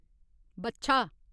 बच्छा